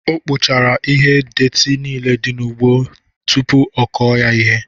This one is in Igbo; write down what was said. O Kpochara ihe detị nile dị n'ugbo tụpụ ọ kọọ ya ihe